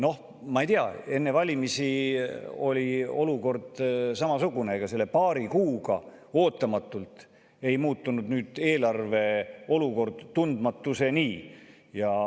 Noh, ma ei tea, enne valimisi oli olukord samasugune, ega selle paari kuuga ootamatult ei muutunud nüüd eelarve olukord tundmatuseni.